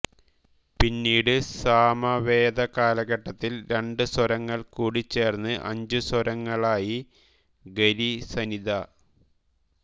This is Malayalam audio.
പിന്നീട് സാമവേദകാലഘട്ടത്തിൽ രണ്ടു സ്വരങ്ങൾ കൂടിച്ചേർന്ന് അഞ്ചുസ്വരങ്ങളായി ഗ രി സ നി ധ